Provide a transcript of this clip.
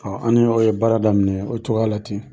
Ɔ an ni mɔgɔw ye baara daminɛ o cogoya la ten